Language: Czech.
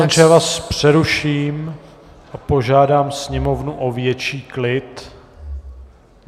Pane poslanče, já vás přeruším a požádám sněmovnu o větší klid.